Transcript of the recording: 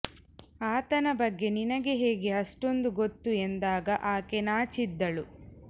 ಆತನ ಬಗ್ಗೆ ನಿನಗೆ ಹೇಗೆ ಅಷ್ಟೊಂದು ಗೊತ್ತು ಎಂದಾಗ ಆಕೆ ನಾಚಿದ್ದಳು